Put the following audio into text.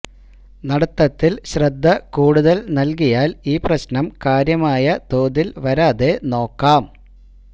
നടത്തത്തില് ശ്രദ്ധ കൂടുതല് നല്കിയാല് ഈ പ്രശ്നം കാര്യമായ തോതില് വരാതെ നോക്കാം